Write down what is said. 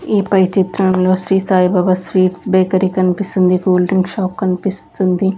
ఈ పై చిత్రంలో శ్రీ సాయిబాబా స్వీట్స్ బేకరీ కన్పిస్తుంది కూల్ డ్రింక్ షాప్ కన్పిస్తుంది.